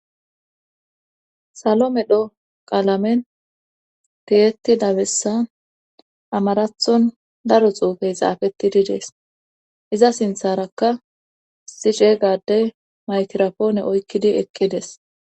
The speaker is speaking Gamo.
salo medho qalamen tiyettidda bessan amaratton daro xuufe xaafettidi des;iza sintharakka issi ceega addee mikrafoone oykkidi eqqides.